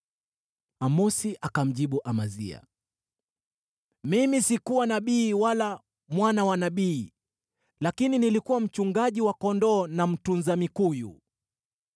Amosi akamjibu Amazia, “Mimi sikuwa nabii wala mwana wa nabii, lakini nilikuwa mchungaji wa kondoo na mtunza mikuyu.